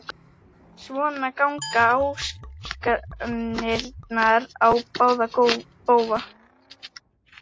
Svona ganga ásakanirnar á báða bóga.